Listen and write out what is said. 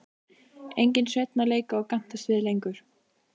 Enginn Sveinn að leika og gantast við lengur.